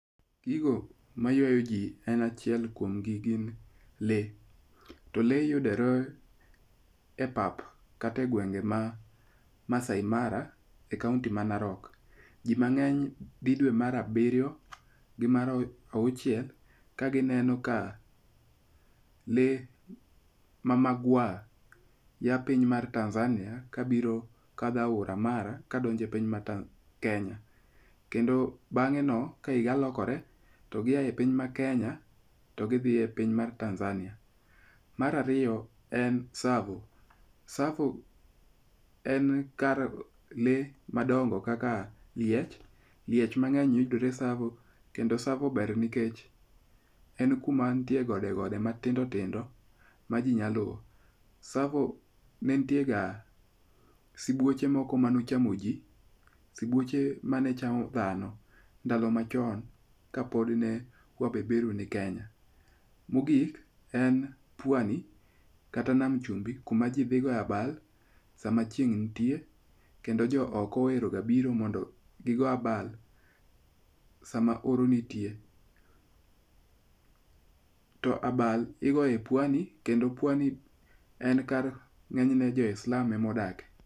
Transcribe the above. Gigo ma ywayo ji en achiel kuom gi gin le. To le yudore e pap kata e gwenge ma Maasai Mara e kaunti ma Narok. Ji mang'eny dhi dwe mar abiryo gi mar auchiel ka gineno ka le ma magwar ya piny mar Tanzania ka biro kadho aora Mara kadonje e piny mar Kenya. Kendo bang'e no ka higa lokore to gi ae piny mar Kenya to gidhi e piny mar Tanzania. Mar ariyo en Tsavo. Tsavo en kar le madongo kaka liech. Liech mang'eny yudore Tsavo. Kendo Tsavo ber nikech en kuma nitie gode gode matindo tindo ma ji nyalo. Tsavo ne nitie ga subuoche moko manochamo ji. Sibuoche mane chamo dhano ndalo machon ka pod ne wabeberu ni Kenya. Mogik en pwani kata nam chumbi kuma ji dhi goye abal sama chieng' nitie. Kendo jo oko ohero ga biro mondo gi go abal sama oro nitie. To abal igoyo e pwani kendo pwani e kar ng'enyne jo wa islamu e ma odake.